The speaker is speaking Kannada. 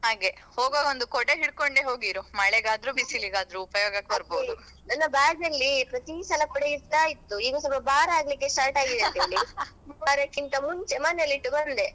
ಹಾಗೆ ಹೋಗುವಾಗ ಒಂದು ಕೊಡೆ ಇಟ್ಕೊಂಡೇ ಹೋಗಿರು ಮಳೆಗಾದ್ರು ಬಿಸಿಲಿಗಾದ್ರು ಉಪಯೋಗಕ್ಕೆ ಬರ್ಬಹುದು.